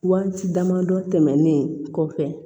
Waati dama dɔ tɛmɛnnen kɔfɛ